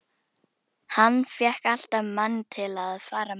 Hann fékk alltaf mann til að fara með sér upp á heiði.